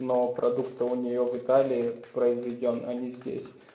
но продукт то у нее в италии произведён а не здесь